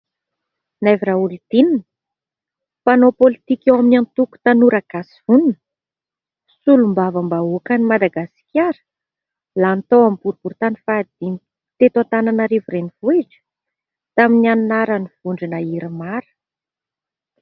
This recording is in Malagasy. "Naivo RAOLIDININA" mpanao politika eo amin'ny antoko : "Tanora Gasy Vonona", solombavam-bahoaka ny Madagasikara lany tao amin'ny boriboritany faha dimy teto Antananarivo Renivohitra tamin'ny anaran'ny vondrona IRMAR.